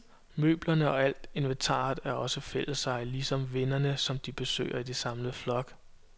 Møblerne og alt inventaret er også fælleseje, ligesom vennerne, som de besøger i samlet flok.